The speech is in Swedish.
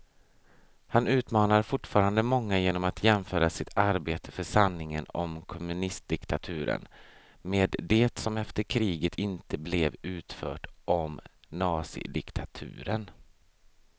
Han utmanar fortfarande många genom att jämföra sitt arbete för sanningen om kommunistdiktaturen med det som efter kriget inte blev utfört om nazidiktaturen.